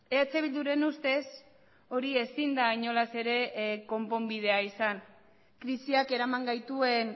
eh bilduren ustez hori ezin da inolaz ere konponbidea izan krisiak eraman gaituen